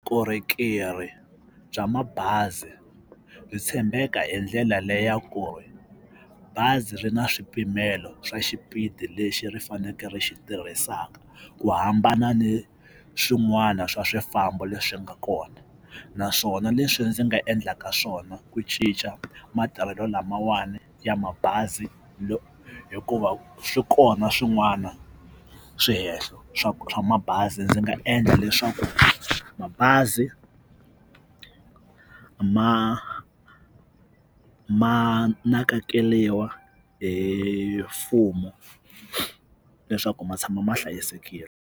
Vukorhokeri bya mabazi ri tshembeka hi ndlela leyi ya kona bazi ri na swipimelo swa xipidi lexi ri fanekele ri xi tirhisaka ku hambana ni swin'wana swa swifambo leswi nga kona naswona leswi ndzi nga endlaka swona ku cinca matirhelo lamawani ya mabazi hikuva swi kona swin'wana swihehlo swa swa mabazi ndzi nga endla leswaku mabazi ma ma nakekeliwa hi mfumo leswaku ma tshama ma hlayisekile.